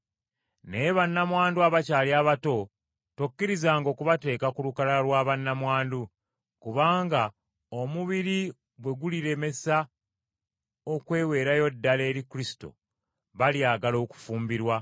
Naye bannamwandu abakyali abato, tokkirizanga okubateeka ku lukalala lwa bannamwandu, kubanga omubiri bwe gulibalemesa okweweerayo ddala eri Kristo, balyagala okufumbirwa,